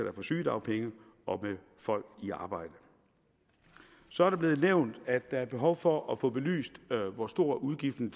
er på sygedagpenge og med folk i arbejde så er det blevet nævnt at der er behov for at få belyst hvor stor udgiften